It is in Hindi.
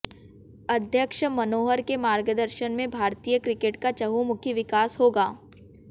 अध्यक्ष मनोहर के मार्गदर्शन में भारतीय क्रिकेट का चहुंमुखी विकास होगा